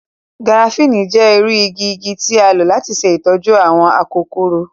Garafuni jẹ iru igi igi ti a lo lati ṣe itọju awọn akokoro.